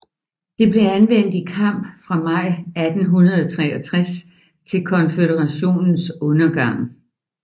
Det blev anvendt i kamp fra maj 1863 til Konføderationens undergang